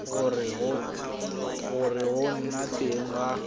gore go nna teng ga